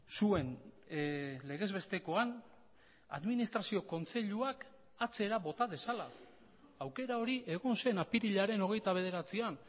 zuen legez bestekoan administrazio kontseiluak atzera bota dezala aukera hori egon zen apirilaren hogeita bederatzian